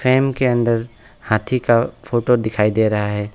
Frame के अंदर हाथी का फोटो दिखाई दे रहा है।